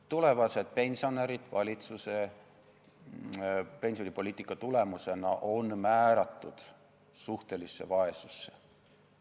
Tulevased pensionärid on valitsuse pensionipoliitika tulemusena määratud suhtelisse vaesusse.